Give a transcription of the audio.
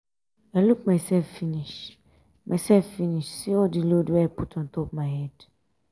i look mysef finish mysef finish see all di load wey i put ontop my head.